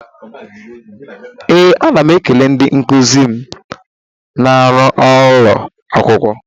Ee, ana m ekele ndị nkuzi m na m ruo ụlọ akwụkwọ.